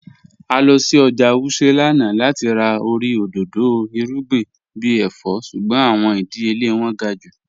À lọ sí ọ́jà Wuse lánà láti rà orí odòdó irugbìn bí èfọ̀, ṣùgbọ̀n awọn ìdíyèlẹ̀ wọn gá̀ jù.